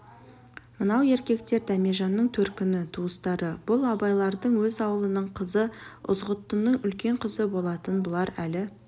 мынау еркектер дәмежанның төркіні туыстары бұл абайлардың өз аулының қызы ызғұттының үлкен қызы болатын бұлар әлі